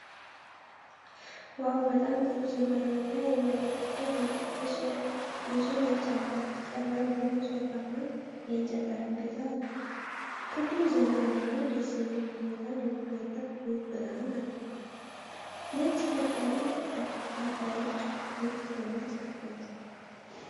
ዋው! በጣም ጥሩ ዘመናዊና የሚያምር ክፍል ነው። ንፁህ ነጭ አልጋ፣ ቀላል ቡኒ ሶፋ እና የእንጨት ጠረጴዛ አለ። ክፍሉ ዘና ያለና ደስ የሚል ሁኔታን የሚፈጥር ውብ ብርሃን አለው። ነጭ ቀጥ ያሉ ከፋዮች ክፍሉን ለሁለት ከፍለውታል።